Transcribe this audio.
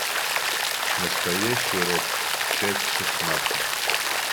настоящий роб часть шестнадцать